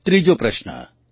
ત્રીજો પ્રશ્ન